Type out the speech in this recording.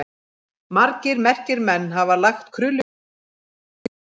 Margir merkir menn hafa lagt krullujárninu liðsinni sitt.